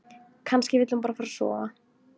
Kannski vill hún bara fara að sofa.